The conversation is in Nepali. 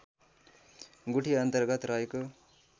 गुठी अन्तर्गत रहेको